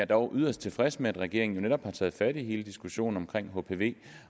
dog yderst tilfreds med at regeringen netop har taget fat på hele diskussionen om hpv